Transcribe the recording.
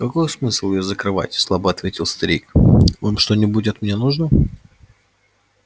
какой смысл её закрывать слабо ответил старик вам что-нибудь от меня нужно